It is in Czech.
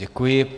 Děkuji.